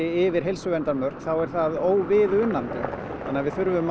yfir heilsuverndarmörk þá er það óviðunandi þannig að við þurfum